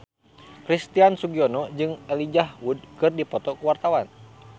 Christian Sugiono jeung Elijah Wood keur dipoto ku wartawan